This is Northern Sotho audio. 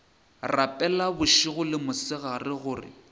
rapela bošego le mosegare gore